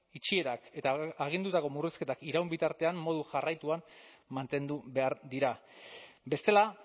itxierak eta agindutako murrizketak iraun bitartean modu jarraituan mantendu behar dira bestela